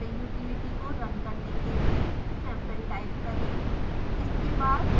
अब sample utility को run करने के लिए sample टाइप करें